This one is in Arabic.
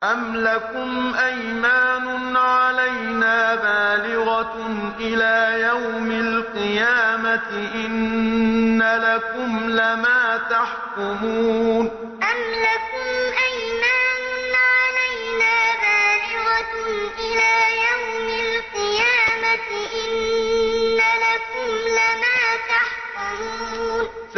أَمْ لَكُمْ أَيْمَانٌ عَلَيْنَا بَالِغَةٌ إِلَىٰ يَوْمِ الْقِيَامَةِ ۙ إِنَّ لَكُمْ لَمَا تَحْكُمُونَ أَمْ لَكُمْ أَيْمَانٌ عَلَيْنَا بَالِغَةٌ إِلَىٰ يَوْمِ الْقِيَامَةِ ۙ إِنَّ لَكُمْ لَمَا تَحْكُمُونَ